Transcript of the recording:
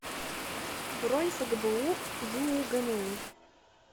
бронь фгбу юугму